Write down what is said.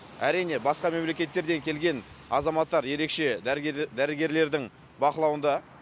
әрине басқа мемлекеттерден келген азаматтар ерекше дәрігерлердің бақылауында